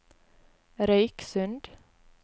Røyksund